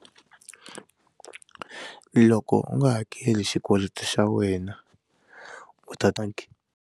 Loko u nga hakeli xikweleti xa wena u ta ta.